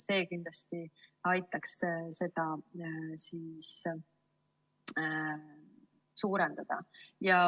See kindlasti aitaks seda suurendada.